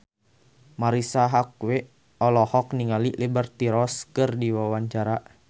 Marisa Haque olohok ningali Liberty Ross keur diwawancara